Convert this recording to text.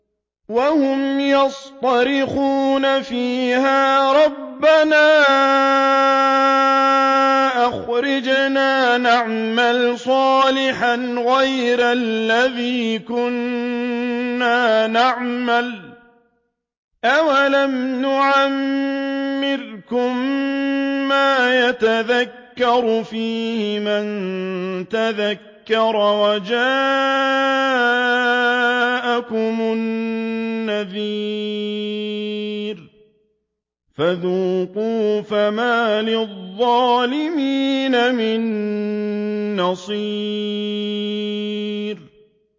وَهُمْ يَصْطَرِخُونَ فِيهَا رَبَّنَا أَخْرِجْنَا نَعْمَلْ صَالِحًا غَيْرَ الَّذِي كُنَّا نَعْمَلُ ۚ أَوَلَمْ نُعَمِّرْكُم مَّا يَتَذَكَّرُ فِيهِ مَن تَذَكَّرَ وَجَاءَكُمُ النَّذِيرُ ۖ فَذُوقُوا فَمَا لِلظَّالِمِينَ مِن نَّصِيرٍ